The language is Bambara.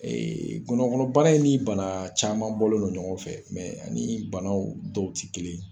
gɔnɔ kɔnɔ bana in ni bana caman bɔlen do ɲɔgɔn fɛ ani banaw dɔw ti kelen ye.